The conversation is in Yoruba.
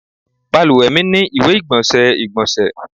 Balùwẹ mi ni iwe-igbọnsẹ igbonse